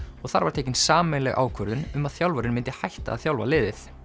og þar var tekin sameiginleg ákvörðun um að þjálfarinn myndi hætta að þjálfa liðið